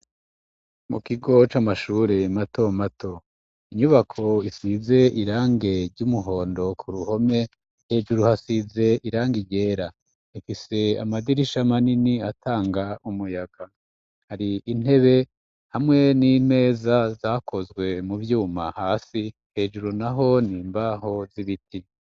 Mu kigo c'amashure mato mato inyubako isize irangi ry'umuhondo ku ruhome hejuru hasize irangi ryera. Rfise amadirisha manini atanga umuyaga. Hari intebe hamwe n'intebe zakozwe mu vyuma hasi hejuru naho ni imbaho z'ibiti.